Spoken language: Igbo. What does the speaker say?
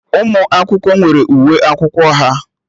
Ụmụ akwụkwọ nwere uwe akwụkwọ ha